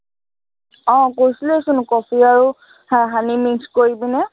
আহ কৈছিলোৱেই চোন কফি আৰু হম honey mix কৰি কিনে,